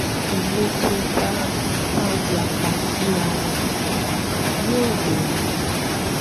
ilé tó bá bá yapa síraa wọn yóò wó ni